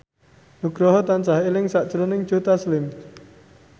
Nugroho tansah eling sakjroning Joe Taslim